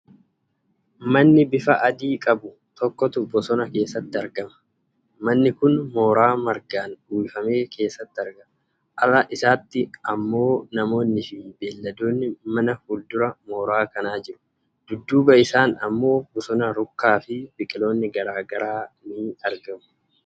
Manni bifa adii qabu tokkotu bosona keessatti argama. manni kun mooraa margaan uwwifame keessatti argama. Ala isaatti ammoo namoonni fi beelladoonni manaa fuuldura mooraa kanaa jiru. Dudduuba isaan ammoo bosona rukkaa fi biqiloonni garaa garaa ni argamu.